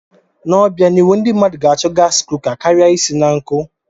N'obianihu, ndị mmadụ ga-achọ gaasi kuka kara isi na nkụ.